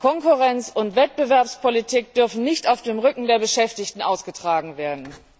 Konkurrenz und Wettbewerbspolitik dürfen nicht auf dem Rücken der Beschäftigten ausgetragen werden.